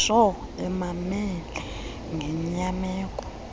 ntsho emamele ngenyameko